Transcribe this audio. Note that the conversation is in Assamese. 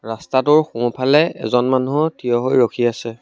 ৰাস্তাটোৰ সোঁফালে এজন মানুহ থিয় হৈ ৰখি আছে।